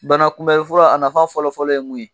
Bana kunbɛn fura a nafa fɔlɔ fɔlɔ ye mun ye?